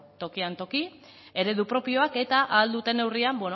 tokian toki eredu propioak eta ahal duten neurrian